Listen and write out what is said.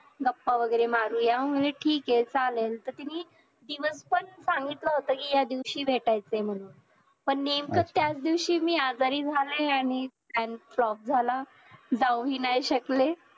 गप्पा वगैरे मारूया मी म्हंटल ठीक आहे चालेल तर तिने दिवस पण सांगितला होता कि या दिवशी भेटायचं म्हणून पण नेमकं त्याच दिवशी मी आजारी झाले आणि plan flop झाला जाऊही नाही शकले